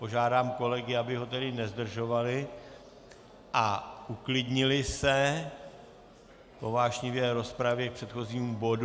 Požádám kolegy, aby ho tedy nezdržovali a uklidnili se po vášnivé rozpravě k předchozímu bodu.